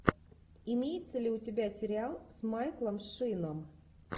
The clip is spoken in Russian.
имеется ли у тебя сериал с майклом шином